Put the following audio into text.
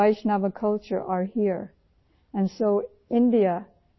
Vaishno culture کے تمام مقدس مقامات یہاں ہیں